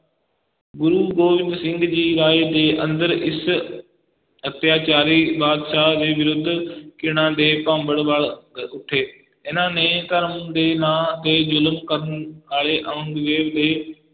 ਗੁਰੂ ਗੋਬਿੰਦ ਸਿੰਘ ਜੀ ਰਾਏ ਦੇ ਅੰਦਰ ਇਸ ਅਤਿਆਚਾਰੀ ਬਾਦਸ਼ਾਹ ਦੇ ਵਿਰੁੱਧ ਘਿਣਾ ਦੇ ਭਾਂਬੜ ਬਲ ਅਹ ਉੱਠੇ, ਇਹਨਾਂ ਨੇ ਧਰਮ ਦੇ ਨਾਂ ਤੇ ਜ਼ੁਲਮ ਕਰਨ ਵਾਲੇ ਔਰੰਗਜ਼ੇਬ ਦੇ